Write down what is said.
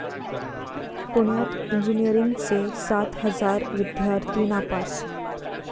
पुण्यात इंजिनिअरींगचे सात हजार विद्यार्थी नापास